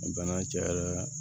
Bana cayara